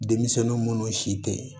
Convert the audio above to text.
Denmisɛnnin munnu si tɛ ye